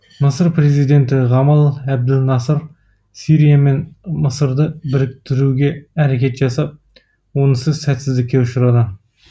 мысыр президенті ғамал әбділ насыр сирия мен мысырды біріктіруге әрекет жасап онысы сәтсіздікке ұшыраған